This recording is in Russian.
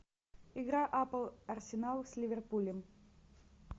игра апл арсенал с ливерпулем